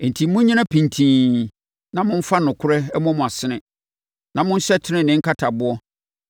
Enti monnyina pintinn, na momfa nokorɛ mmɔ mo asene, na monhyɛ tenenee nkataboɔ,